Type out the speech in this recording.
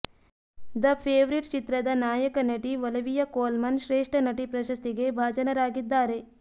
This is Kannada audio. ದ ಫೇವರಿಟ್ ಚಿತ್ರದ ನಾಯಕ ನಟಿ ಒಲಿವಿಯಾ ಕೋಲ್ಮನ್ ಶ್ರೇಷ್ಠ ನಟಿ ಪ್ರಶಸ್ತಿಗೆ ಭಾಜನರಾಗಿದ್ದಾರೆ